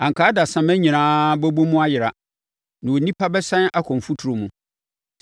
anka adasamma nyinaa bɛbɔ mu ayera, na onipa bɛsane akɔ mfuturo mu.